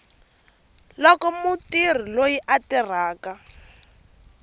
loko mutirhi loyi a tirhaka